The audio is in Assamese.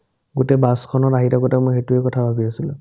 গোটে বাছখনত আহি থাকোতে মই সেটো কথাই ভাবি আছিলো